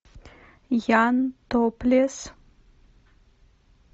ян топлес